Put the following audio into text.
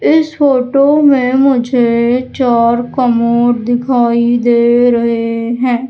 इस फोटो में मुझे कर कमोड दिखाई दे रहे हैं।